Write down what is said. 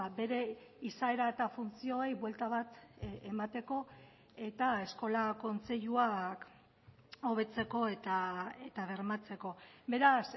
bere izaera eta funtzioei buelta bat emateko eta eskola kontseiluak hobetzeko eta bermatzeko beraz